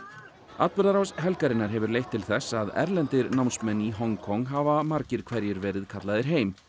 atburðarás helgarinnar hefur leitt til þess að erlendir námsmenn í Hong Kong hafa margir hverjir verið kallaðir heim